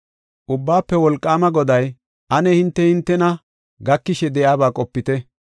Ubbaafe Wolqaama Goday, “Ane hinte hintena gakishe de7iyaba qopite.